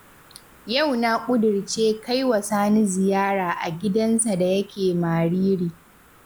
Yau na ƙudirce kai wa Sani ziyara a gidansa da yake Mariri